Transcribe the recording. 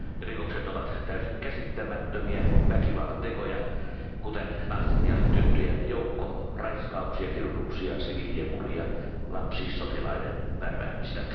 Rikokset ovat täysin käsittämättömiä väkivallantekoja, kuten naisten ja tyttöjen joukkoraiskauksia, kidutuksia, siviilien murhia ja lapsisotilaiden värväämistä.